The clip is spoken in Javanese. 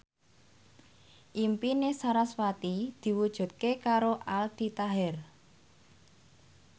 impine sarasvati diwujudke karo Aldi Taher